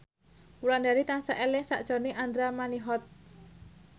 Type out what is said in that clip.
Wulandari tansah eling sakjroning Andra Manihot